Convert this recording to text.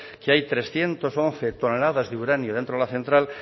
que hay trescientos once toneladas de uranio dentro de la central